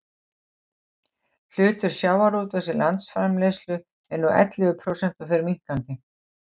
hlutur sjávarútvegs í landsframleiðslu er nú ellefu prósent og fer minnkandi